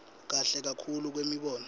kahle kakhulu kwemibono